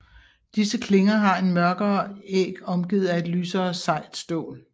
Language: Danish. Disse klinger har en mørkere æg omgivet af et lysere sejt stål